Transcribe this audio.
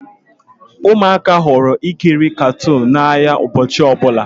Ụmụaka hụrụ ikiri katuunu n'anya ụbọchị ọbụla